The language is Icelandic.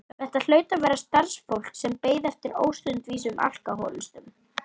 Þetta hlaut að vera starfsfólk sem beið eftir óstundvísum alkóhólistum.